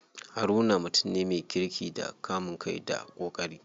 Haruna mutum ne me kirki da kamun kai da ƙoƙari.